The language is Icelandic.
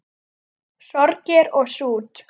Sorgir og sút